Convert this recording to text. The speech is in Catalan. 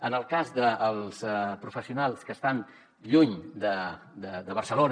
en el cas dels professionals que estan lluny de barcelona